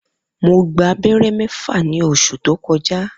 Mo gba abẹ́rẹ́ mẹ́fà ní oṣù tó kọjá